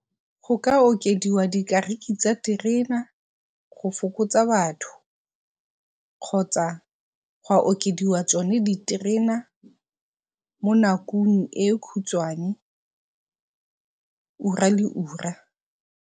Go ka okediwa di dikariki tsa terena go fokotsa batho kgotsa ga okediwa tsone diterena mo nakong e khutshwane ura le ura.